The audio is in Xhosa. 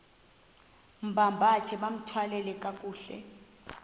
bambathe bathwale kakuhle